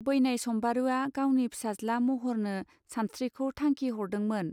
बैनाय सम्बारूआ गावनि फिसाज्ला महरनो सानस्त्रिखौ थांखि हरदोंमोन.